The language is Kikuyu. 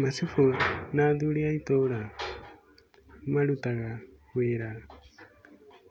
Macibũ na athuri a itũra marutaga wĩra